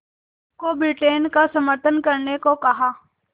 को ब्रिटेन का समर्थन करने को कहा